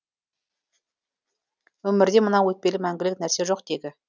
өмірде мынау өтпелі мәңгілік нәрсе жоқ тегі